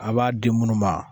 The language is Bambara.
A b'a di munnu ma.